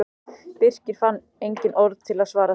Birkir fann engin orð til að svara þessu.